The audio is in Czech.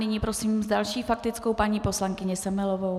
Nyní prosím s další faktickou paní poslankyni Semelovou.